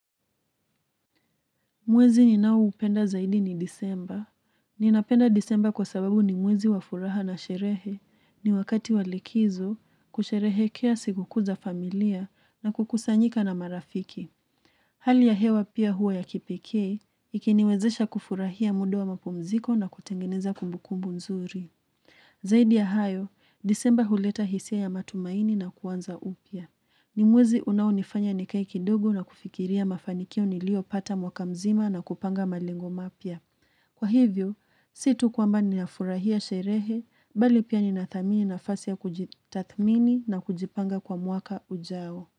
Mwezi ninao upenda zaidi ni disemba. Ninapenda disemba kwa sababu ni mwezi wa furaha na sherehe ni wakati wa likizo kusherehekea sikukuu za familia na kukusanyika na marafiki. Hali ya hewa pia hua ya kipekee, ikiniwezesha kufurahia muda wa mapumziko na kutengeneza kumbukumbu nzuri. Zaidi ya hayo, disemba huleta hisia ya matumaini na kuanza upya. Ni mwezi unaonifanya ni kae kidogo na kufikiria mafanikio nilio pata mwaka mzima na kupanga malengo mapya. Kwa hivyo, situ kwamba nina furahia sherehe, bali pia nina thamini nafasi ya kujitathmini na kujipanga kwa mwaka ujao.